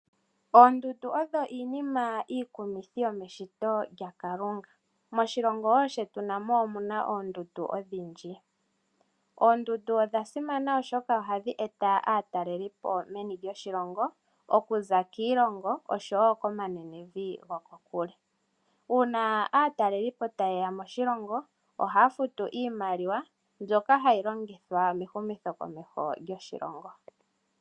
Oondundu odho iinima iikumithi yomeshito lyaKalunga. Moshilongo wo shetu namo omu na oondundu odhindji. Oondundu odha simana oshoka ohadhi eta aatalelipo meni lyoshilongo, okuza kiilongo, osho wo komanenevi gokokule. Uuna aatalelipo taye ya moshilongo, ohaya futu iimaliwa mbyoka hayi longithwa mehumithokomeho lyoshilongo.